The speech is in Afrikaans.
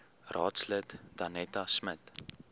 raadslid danetta smit